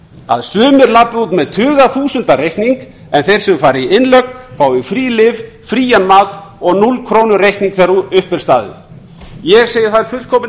að sumir labbi út með tugaþúsunda reikning en þeir sem fara í innlögn fái frí lyf frían mat og núll krónur reikning þegar upp er staðið ég segi það er fullkomin